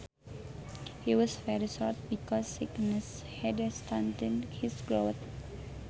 He was very short because sickness had stunted his growth